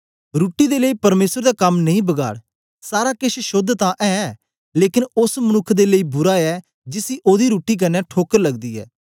रुट्टी दे लेई परमेसर दा कम नेई बगाड़ सारा केछ शोद्ध तां ऐ लेकन ओस मनुक्ख दे लेई बुरा ऐ जिसी ओदी रुट्टी कन्ने ठोकर लगदी ऐ